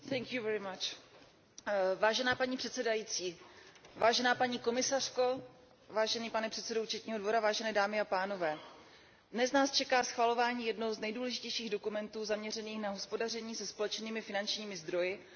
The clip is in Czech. Vážená paní předsedající, vážená paní komisařko, vážený pane předsedo Evropského účetního dvora, vážené dámy a pánové, dnes nás čeká schvalování jednoho z nejdůležitějších dokumentů zaměřených na hospodaření se společnými finančními zdroji na úrovni Evropské unie.